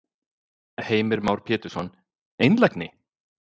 Heimir Már Pétursson: Einlægni?